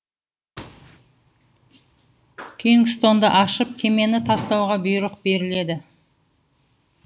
кингстонды ашып кемені тастауға бұйрық беріледі